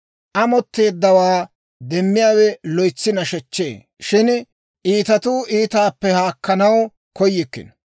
Amotteeddawaa demmiyaawe loytsi nashechchee; shin iitatuu iitaappe haakkanaw koyikkino.